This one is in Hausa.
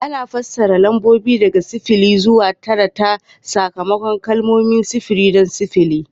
Ana fassara lambobi daga sifili zuwa tara ta takamaiman kalmomi: sifiri don sifili